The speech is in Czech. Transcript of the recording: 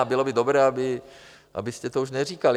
A bylo by dobré, abyste to už neříkali.